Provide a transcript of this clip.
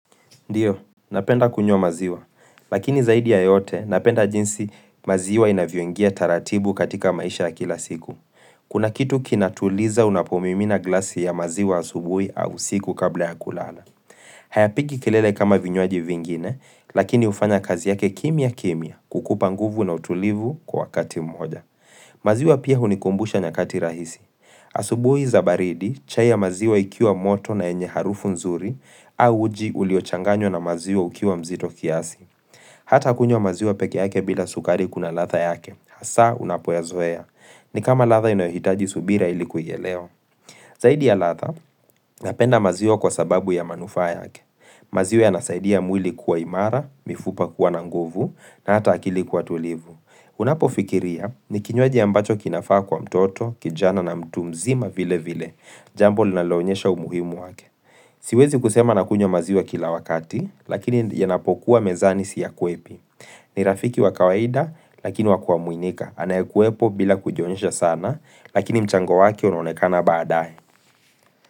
Ndio, napenda kunywa maziwa. Lakini zaidi ya yote, napenda jinsi maziwa inavyoingia taratibu katika maisha ya kila siku. Kuna kitu kinatuliza unapomimina glasi ya maziwa asubuhi au usiku kabla ya kulala. Hayapigi kelele kama vinywaji vingine, lakini ufanya kazi yake kimia kimia kukupanguvu na utulivu kwa kati moja. Maziwa pia hunikumbusha nyakati rahisi. Asubuhi zabaridi, chai ya maziwa ikiwa moto na enye harufu nzuri, au uji uliochanganywa na maziwa ukiwa mzito kiasi. Hata kunywa maziwa peke yake bila sukari kuna ladha yake, hasa unapoyazoea. Ni kama ladha inayohitaji subira ili kuielewa Zaidi ya latha, napenda maziwa kwa sababu ya manufaa yake. Maziwa ya nasaidia mwili kuwa imara, mifupa kuwa nanguvu, na ata akili kuwa tulivu. Unapo fikiria, ni kinywaji ambacho kinafaa kwa mtoto, kijana na mtu mzima vile vile, jambo linalonyesha umuhimu wake. Siwezi kusema nakunywa maziwa kila wakati, lakini yanapokuwa mezani siya kwepi. Ni rafiki wakawaida, lakini wakua muinika. Anaekwepo bila kujionyesha sana, lakini mchango wake unonekana baadae.